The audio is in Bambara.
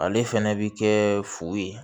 Ale fɛnɛ bi kɛ fu ye